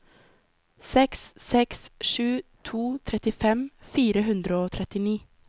seks seks sju to trettifem fire hundre og trettini